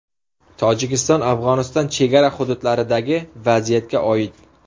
Tojikiston–Afg‘oniston chegara hududlaridagi vaziyatga oid.